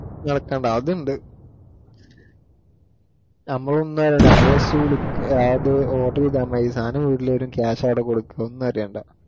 നടക്കേണ്ട അതുണ്ട് നമ്മള് ഒന്നും അല്ലഡാ. നമ്മള് just look ഓർഡർ ചെയ്താ മതി. സാധനം വീട്ടില് വരും. cash ആയിട്ടു കൊടുക്കണം ഒന്നും അറിയേണ്ട